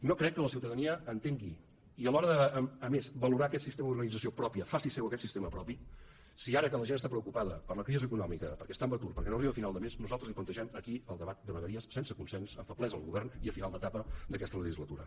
no crec que la ciutadania entengui i a l’hora de a més valorar aquest sistema d’organització pròpia faci seu aquest sistema propi si ara que la gent està preocupada per la crisi econòmica perquè està en atur perquè no arriba a final de mes nosaltres li plantegem aquí el debat de vegueries sense consens amb feblesa al govern i en final d’etapa d’aquesta legislatura